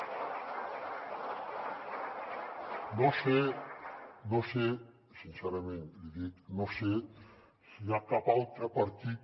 no sé sincerament l’hi dic no sé si hi ha cap altre partit